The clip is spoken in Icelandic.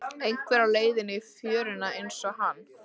Einhver á leið í fjöruna einsog hann.